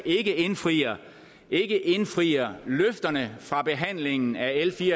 ikke indfrier indfrier løfterne fra behandlingen af l fire